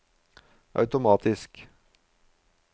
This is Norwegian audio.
automatisk